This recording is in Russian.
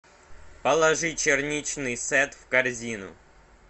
положи черничный сет в корзину